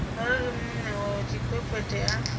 arali muṋe wa tshikwekwete a